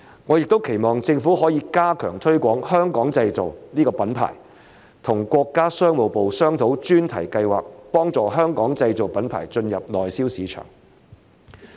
我也期望政府可以加強推廣"香港製造"這個品牌，與國家商務部商討專題計劃，幫助香港製造品牌進入內銷市場。